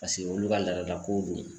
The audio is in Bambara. Pase olu ka laadalakow don